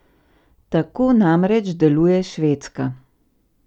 Tako namreč deluje Švedska.